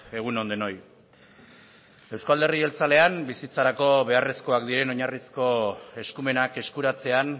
egun on denoi euzko alderdi jeltzalean bizitzarako beharrezkoak diren oinarrizko eskumenak eskuratzean